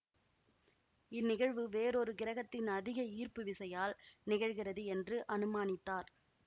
இந்நிகழ்வு வேறொரு கிரகத்தின் அதிக ஈர்ப்பு விசையால் நிகழ்கிறது என்று அனுமானித்தார்